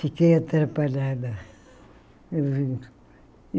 Fiquei atrapalhada.